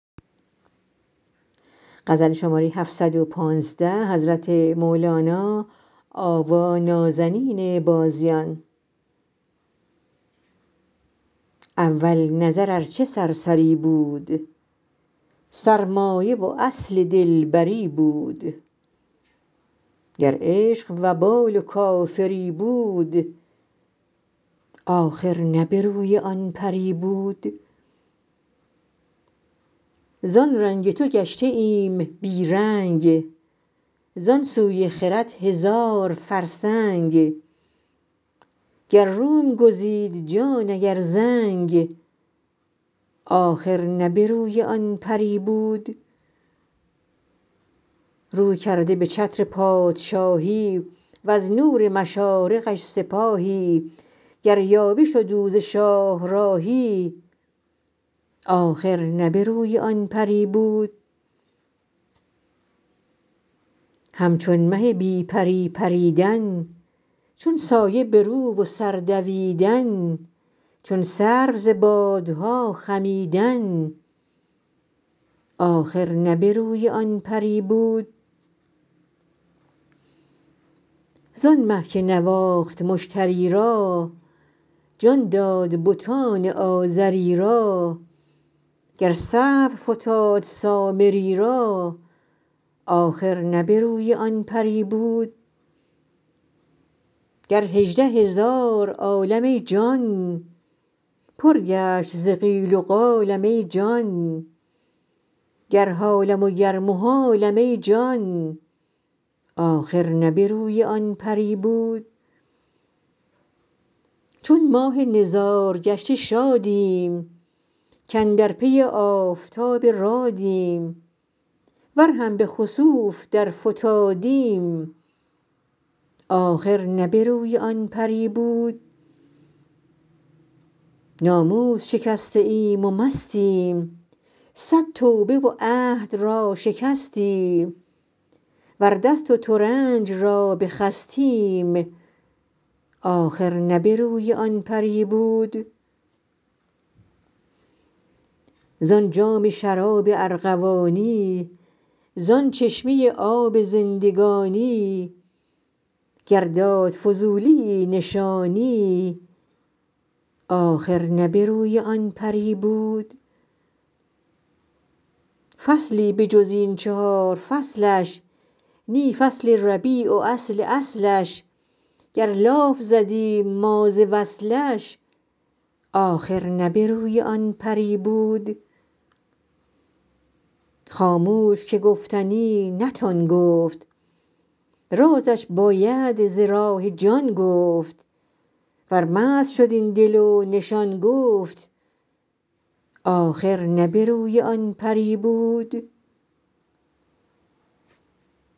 اول نظر ار چه سرسری بود سرمایه و اصل دلبری بود گر عشق وبال و کافری بود آخر نه به روی آن پری بود زان رنگ تو گشته ایم بی رنگ زان سوی خرد هزار فرسنگ گر روم گزید جان اگر زنگ آخر نه به روی آن پری بود رو کرده به چتر پادشاهی وز نور مشارقش سپاهی گر یاوه شد او ز شاهراهی آخر نه به روی آن پری بود همچون مه بی پری پریدن چون سایه به رو و سر دویدن چون سرو ز بادها خمیدن آخر نه به روی آن پری بود زان مه که نواخت مشتری را جان داد بتان آزری را گر سهو فتاد سامری را آخر نه به روی آن پری بود گر هجده هزار عالم ای جان پر گشت ز قال و قالم ای جان گر حالم وگر محالم ای جان آخر نه به روی آن پری بود چون ماه نزارگشته شادیم کاندر پی آفتاب رادیم ور هم به خسوف درفتادیم آخر نه به روی آن پری بود ناموس شکسته ایم و مستیم صد توبه و عهد را شکستیم ور دست و ترنج را بخستیم آخر نه به روی آن پری بود زان جام شراب ارغوانی زان چشمه آب زندگانی گر داد فضولیی نشانی آخر نه به روی آن پری بود فصلی به جز این چهار فصلش نی فصل ربیع و اصل اصلش گر لاف زدیم ما ز وصلش آخر نه به روی آن پری بود خاموش که گفتنی نتان گفت رازش باید ز راه جان گفت ور مست شد این دل و نشان گفت آخر نه به روی آن پری بود